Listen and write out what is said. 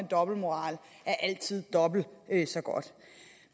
dobbeltmoral er altid dobbelt så godt